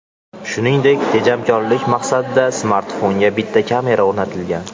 Shuningdek, tejamkorlik maqsadida smartfonga bitta kamera o‘rnatilgan.